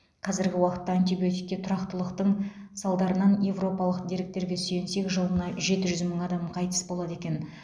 қазіргі уақытта антибиотикке тұрақтылықтың салдарынан европалық деректерге сүйенсек жылына жеті жүз мың адам қайтыс болады екен